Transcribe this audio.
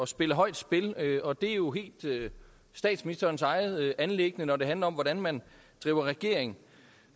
spille højt spil og det er jo helt statsministerens eget anliggende når det handler om hvordan man driver regering